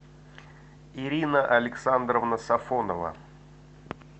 ирина александровна сафонова